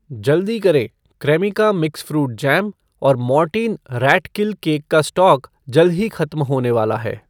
जल्दी करें, Cremica mix fruit jam और मॉर्टीन रैट किल केक का स्टॉक जल्द ही खत्म होने वाला है